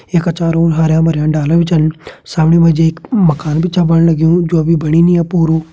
ये का चारो और हरयां-भरयां डाला भी छन सामणे माजी एक माकन भी छा बणने लग्यूं जो अभी बणी नि अभी पूरू।